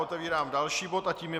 Otevírám další bod a tím je